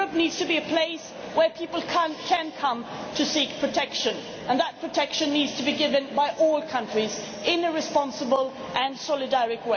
Europe needs to be a place where people can come to seek protection and that protection needs to be given by all countries in a responsible way, showing solidarity.